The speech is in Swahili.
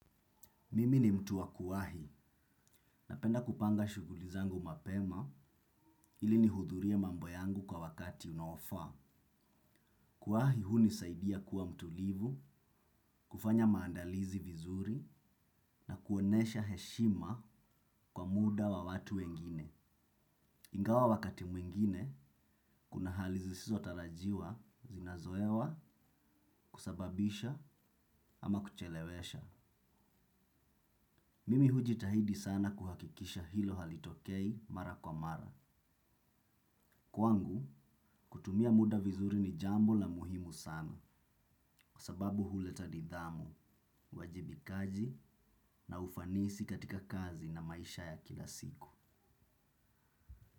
Mimi ni mtu wa kuwahi napenda kupanga shughuli zangu mapema ili nihudhurie mambo yangu kwa wakati unaofaa. Kuwahi hunisaidia kuwa mtulivu, kufanya maandalizi vizuri na kuonyesha heshima kwa muda wa watu wengine. Ingawa wakati mwingine, kuna hali zisizo tarajiwa, zinazoewa, kusababisha ama kuchelewesha. Mimi hujitahidi sana kuhakikisha hilo halitokei mara kwa mara. Kwangu, kutumia muda vizuri ni jambo la muhimu sana, kwa sababu huleta nidhamu, uwajibikaji na ufanisi katika kazi na maisha ya kila siku.